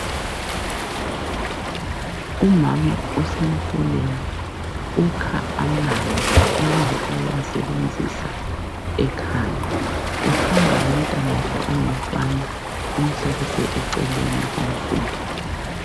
Umama usemfuleni ukha amanzi ukuze ayewasebenzisa ekhaya. Uhamba lomtanakhe ongumfana, umhlalise eceleni komfula.